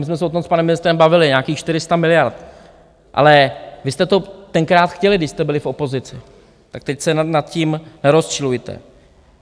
My jsme se o tom s panem ministrem bavili, nějakých 400 miliard, ale vy jste to tenkrát chtěli, když jste byli v opozici, tak teď se nad tím nerozčilujte!